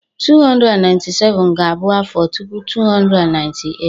2097 ga-abụ afọ tupu 2098.